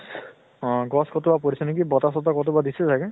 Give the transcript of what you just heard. অহ গছ কতোবা পৰিছে নেকি, বতাহ চতাহ কতোবা দিছে চাগে।